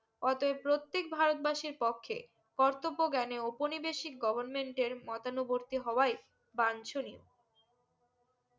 অতএব প্রত্যেক ভারত বাসির পক্ষে কতব্য জ্ঞানের উপনিবেশিক government এর মতানবর্তি হওয়াই বাঞ্চনিয়